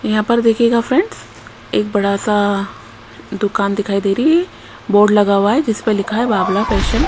यहां पर देखिएगा फ्रेंड्स एक बड़ा सा दुकान दिखाई दे रही है बोर्ड लगा हुआ है जिस पर लिखा है बाबला फैशन .